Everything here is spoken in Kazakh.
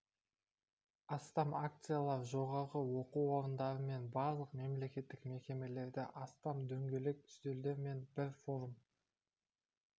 астам акциялар жоғары оқу орындары мен барлық мемлекеттік мекемелерде астам дөңгелек үстелдер мен бір форум